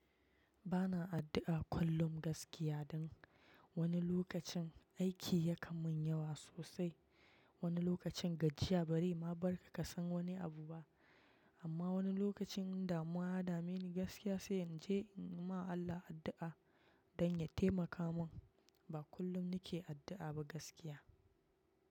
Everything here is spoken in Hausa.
Bana addu'a kullum gaskiya don wani lokacin aiki ya kamun yawa sosai. Wani lokacin gajiya bari ma barka ka san wani abu ba. Amma wani lokacin in damuwa ya dame ni gaskiya sai in je in ma Allah addu'a don ya taimaka mun. Ba kullum ni ke addu'a ba gaskiya.